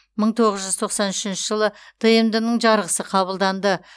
мың тоғыз жүз тоқсан үшінші жылы тмд ның жарғысы қабылданды